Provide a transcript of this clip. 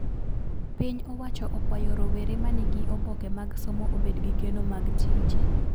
Piny owacho okwayo rowere manigi oboke mag somo obed gi geno mag tije